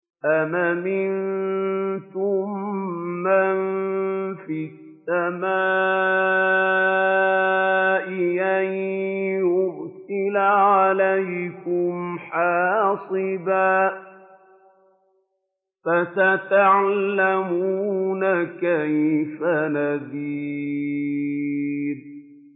أَمْ أَمِنتُم مَّن فِي السَّمَاءِ أَن يُرْسِلَ عَلَيْكُمْ حَاصِبًا ۖ فَسَتَعْلَمُونَ كَيْفَ نَذِيرِ